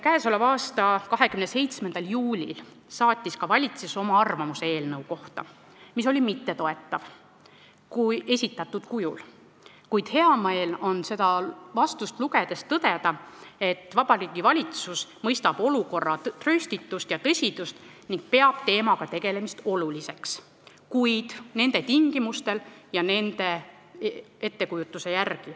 Käesoleva aasta 27. juulil saatis valitsus oma arvamuse eelnõu kohta, mis eelnõu esitatud kujul ei toetanud, kuid hea meel on seda vastust lugedes tõdeda, et Vabariigi Valitsus mõistab olukorra trööstitust ja tõsidust ning peab teemaga tegelemist oluliseks, kuid nende tingimustel ja nende ettekujutuse järgi.